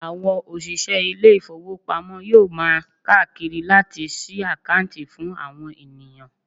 Àwọn òṣìṣẹ́ ilé ìfowópamọ́ yóò máa káàkiri láti sí àkáǹtì fún àwọn ènìyàn.